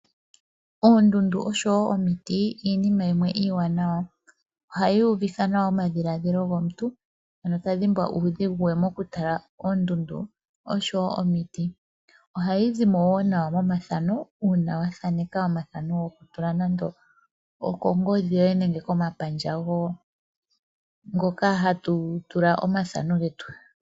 Oondundu osho wo omiti iinima yimwe iiwanawa ohayi uvitha nawa omadhiladhilo gomuntu ano ta dhimbwa mokutala oondundu osho wo omiti. Ohayi zi mo wo nawa momathano uuna wathaneka omathano gokongodhi yoye nenge komapandja ngoka ha tu tula omathano getu.